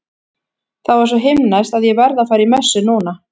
Það var svo himneskt að ég verð að fara í messu núna.